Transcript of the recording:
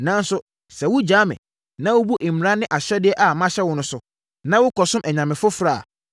“Nanso, sɛ wogya me, na wobu mmara ne ahyɛdeɛ a mahyɛ wo no so, na wokɔsom anyame foforɔ a,